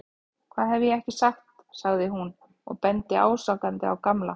Hvað hef ég ekki sagt sagði hún og benti ásakandi á Gamla.